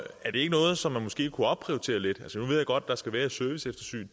er det ikke noget som man måske kunne opprioritere lidt nu ved jeg godt at der skal være et serviceeftersyn